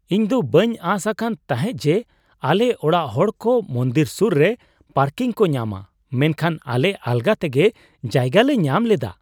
ᱤᱧ ᱫᱚ ᱵᱟᱹᱧ ᱟᱸᱥ ᱟᱠᱟᱱ ᱛᱟᱦᱮᱸᱜ ᱡᱮ ᱟᱞᱮ ᱚᱲᱟᱜ ᱦᱚᱲᱠᱚ ᱢᱚᱱᱫᱤᱨ ᱥᱩᱨ ᱨᱮ ᱯᱟᱨᱠᱤᱝ ᱠᱚ ᱧᱟᱢᱟ, ᱢᱮᱱᱠᱷᱟᱱ ᱟᱞᱮ ᱟᱞᱜᱟ ᱛᱮᱜᱮ ᱡᱟᱭᱜᱟ ᱞᱮ ᱧᱟᱢ ᱞᱮᱫᱟ ᱾